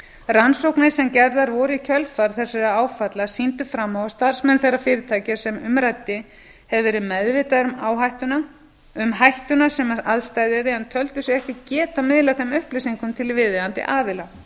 rannsóknir sem gerðar voru í kjölfar þessara áfalla sýndu fram á að starfsmenn þeirra fyrirtækja sem um ræddi hefðu verið meðvitaðir um hættuna sem að steðjaði en töldu sig ekki geta miðlað þeim upplýsingum til viðeigandi aðila